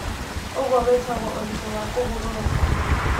Ũguo wĩtagwo ũritũ wa kũhũrũrũka.